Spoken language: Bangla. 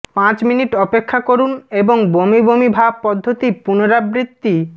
পাঁচ মিনিট অপেক্ষা করুন এবং বমি বমি ভাব পদ্ধতি পুনরাবৃত্তি